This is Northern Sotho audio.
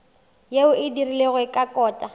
yeo e dirilwego ka kota